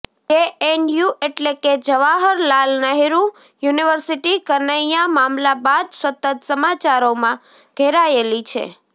JNU એટલે કે Jawaharlal Nehru university Kanhaiya મામલા બાદ સતત સમાચારોમાં ઘેરાયેલી છે